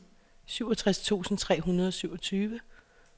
syvogtres tusind tre hundrede og syvogtyve